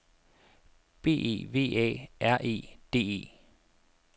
B E V A R E D E